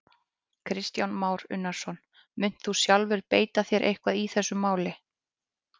Kristján Már Unnarsson: Munt þú sjálfur beita þér eitthvað í þessu máli?